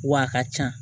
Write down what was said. W'a ka ca